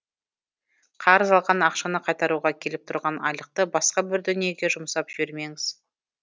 қарыз алған ақшаны қайтаруға келіп тұрған айлықты басқа бір дүниеге жұмсап жібермеңіз